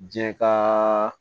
Jɛ kaaa